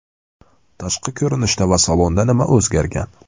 Tashqi ko‘rinishda va salonda nima o‘zgargan?